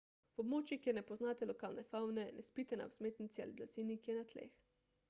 v območjih kjer ne poznate lokalne favne ne spite na vzmetnici ali blazini ki je na tleh